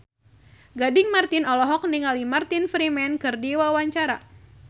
Gading Marten olohok ningali Martin Freeman keur diwawancara